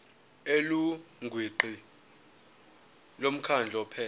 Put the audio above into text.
elungwini lomkhandlu ophethe